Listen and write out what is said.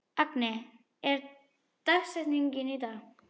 Agni, hver er dagsetningin í dag?